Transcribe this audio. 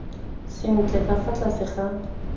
sentle ka fa tlase ga